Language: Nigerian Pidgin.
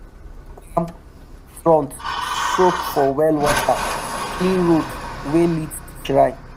palm front soak for well water clean road wey lead to shrine.